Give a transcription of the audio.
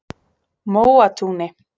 Móatúni